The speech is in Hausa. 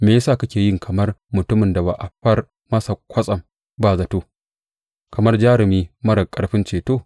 Me ya sa kake yi kamar mutumin da aka far masa kwasam ba zato, kamar jarumi marar ƙarfin ceto?